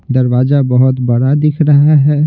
दरवाजा बहुत बड़ा दिख रहा है।